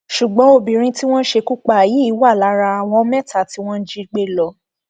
ṣùgbọn obìnrin tí wọn ṣekú pa yìí wà lára àwọn mẹta tí wọn jígbe lọ